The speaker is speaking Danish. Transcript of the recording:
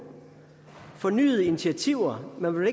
fornyede initiativer man vil